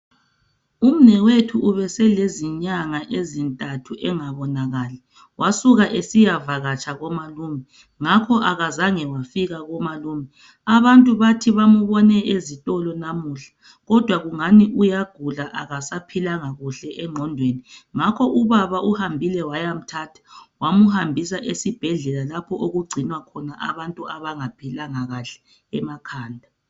Umnewethu ubesele nyanga ezintathu engabonakali wasuka esiya vakatsha komalume ngakho akazange wafika komalume abantu bathi bambona ezitolo namuhla kodwa kungani uyagula akasaphilanga kuhle engqondweni ngakho ubaba uhambile wayamthatha wamhambisa esibhedlela lapho okugcinwe khona abantu abangaphilanga kuhle emakhada